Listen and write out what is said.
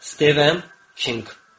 Styvem Hink.